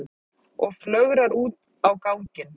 Og flögrar út á ganginn.